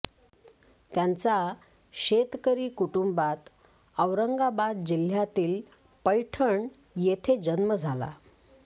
त्यांचा शेतकरी कुटुंबात औरंगाबाद जिल्ह्यातील पैठण येथे जन्म झाला